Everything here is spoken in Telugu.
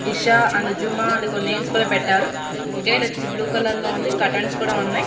ఇషా అండ్ జుమా అని కొన్ని నేమ్స్ కూడా పెట్టారు. గేట్ వచ్చేసి బ్లూ కలర్లో ఉంది. కర్టెన్స్ కూడా ఉన్నాయి.